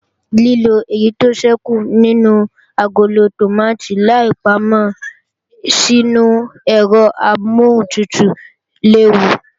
Lílo èyí tó ṣẹ́kù nínú agolo tòmátì láì pámọ́ sínu ẹ̀rọ amọ́huntutù léwu